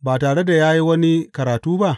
ba tare da ya yi wani karatu ba?